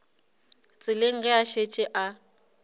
tseleng ge a šetše a